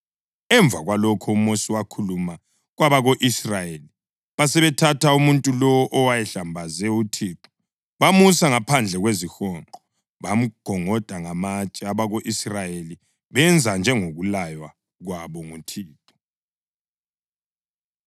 Emva kwalokho uMosi wakhuluma kwabako-Israyeli, basebethatha umuntu lowo owayehlambaze uThixo, bamusa ngaphandle kwezihonqo, bamgongoda ngamatshe. Abako-Israyeli benza njengokulaywa kwabo nguThixo.